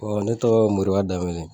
ne tɔgɔ ye Moriba Danbele